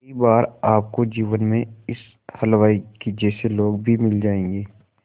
कई बार आपको जीवन में इस हलवाई के जैसे लोग भी मिल जाएंगे